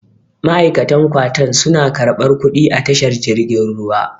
ma'aikatan kwatan suna karɓar kuɗi a tashar jirgin ruwa